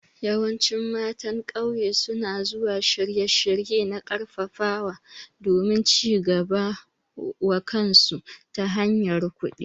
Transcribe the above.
Yawancin matan ƙauye su na zuwa shirye-shirye na ƙarfafawa domin cigaba wa kansu ta hanyar kuɗi.